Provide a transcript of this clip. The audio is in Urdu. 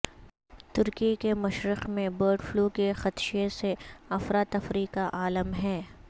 ترکی کے مشرق میں برڈ فلو کے خدشے سے افراتفری کا عالم ہے